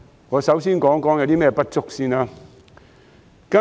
我先談有何不足之處。